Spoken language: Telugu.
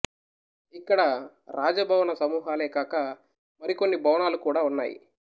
ఇక్కడ రాజభవన సమూహాలే కాక మరికొన్ని భవనాలు కూడా ఉన్నాయి